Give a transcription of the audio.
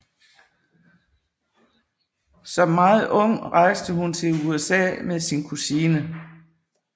Som meget ung rejste hun til USA med sin kusine